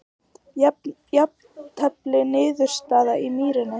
Jafntefli niðurstaðan í Mýrinni